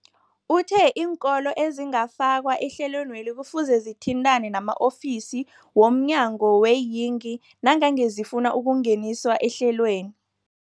Uthe iinkolo ezingakafakwa ehlelweneli kufuze zithintane nama-ofisi wo mnyango weeyingi nangange zifuna ukungeniswa ehlelweni.